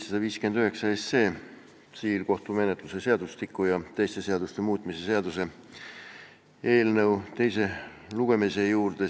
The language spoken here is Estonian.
Läheme siis eelnõu 759, tsiviilkohtumenetluse seadustiku ja teiste seaduste muutmise seaduse eelnõu teise lugemise juurde.